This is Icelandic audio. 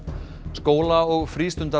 skóla og